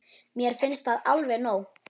Mér finnst það alveg nóg.